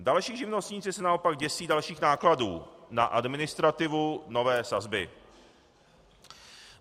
Další živnostníci se naopak děsí dalších nákladů na administrativu nové sazby.